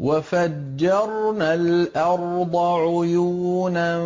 وَفَجَّرْنَا الْأَرْضَ عُيُونًا